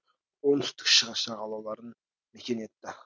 оңтүстік шығыс жағалауларын мекен етті